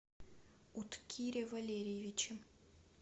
уткире валериевиче